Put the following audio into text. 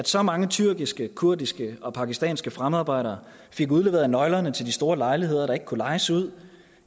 så mange tyrkiske kurdiske og pakistanske fremmedarbejdere fik udleveret nøglerne til de store lejligheder der ikke kunne lejes ud